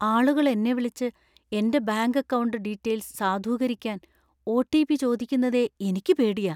ആളുകൾ എന്നെ വിളിച്ച് എന്‍റെ ബാങ്ക് അക്കൗണ്ട് ഡീറ്റെയില്‍സ് സാധൂകരിക്കാൻ ഒ.ടി.പി. ചോദിക്കുന്നതേ എനിക്ക് പേടിയാ.